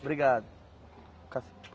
Obrigado. Ca